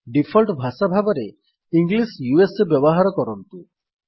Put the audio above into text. default ଭାଷା ଭାବରେ English ବ୍ୟବହାର କରନ୍ତୁ